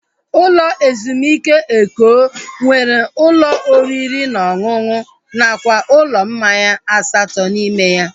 Ụlọ ezumike Eko nwere ụlọ oriri na ọṅụṅụ nakwa ụlọ mmanya asatọ n'ime ya